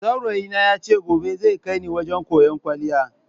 Saurayi na ya ce gobe zai kai ni wajen koyan kwaliya.